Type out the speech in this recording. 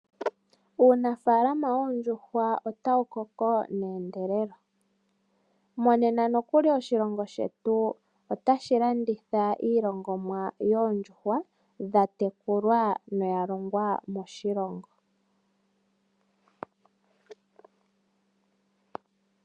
Uunafaalama woondjuhwa otawu koko mendelelo, monena nokuli oshilongo shetu otashi landitha iilongonwa yoondjuhwa dha tekulwa noyalongwa moshilongo.